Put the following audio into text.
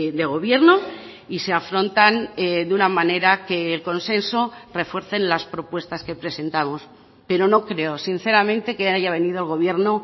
de gobierno y se afrontan de una manera que el consenso refuercen las propuestas que presentamos pero no creo sinceramente que haya venido el gobierno